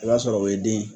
I b'a sɔrɔ o ye den ye